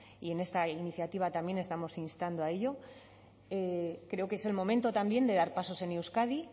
y en esta iniciativa también estamos instando a ello creo que es el momento también de dar pasos en euskadi